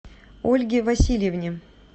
ольге васильевне